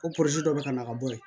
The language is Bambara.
O dɔ bɛ ka na ka bɔ yen